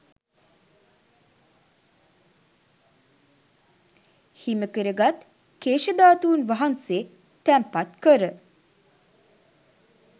හිමිකර ගත් කේශ ධාතුන් වහන්සේ තැන්පත් කර